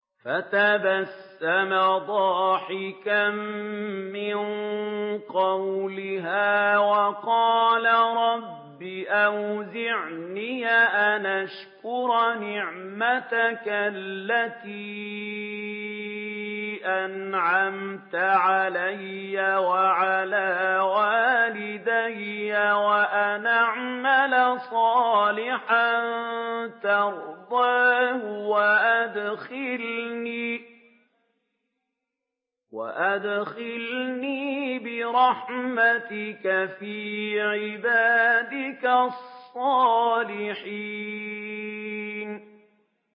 فَتَبَسَّمَ ضَاحِكًا مِّن قَوْلِهَا وَقَالَ رَبِّ أَوْزِعْنِي أَنْ أَشْكُرَ نِعْمَتَكَ الَّتِي أَنْعَمْتَ عَلَيَّ وَعَلَىٰ وَالِدَيَّ وَأَنْ أَعْمَلَ صَالِحًا تَرْضَاهُ وَأَدْخِلْنِي بِرَحْمَتِكَ فِي عِبَادِكَ الصَّالِحِينَ